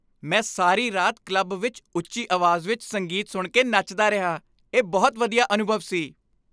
ਮੈਂ ਸਾਰੀ ਰਾਤ ਕਲੱਬ ਵਿੱਚ ਉੱਚੀ ਆਵਾਜ਼ ਵਿੱਚ ਸੰਗੀਤ ਸੁਣ ਕੇ ਨੱਚਦਾ ਰਿਹਾ। ਇਹ ਬਹੁਤ ਵਧੀਆ ਅਨੁਭਵ ਸੀ।